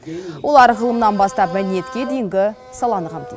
олар ғылымнан бастап мәдениетке дейінгі саланы қамтиды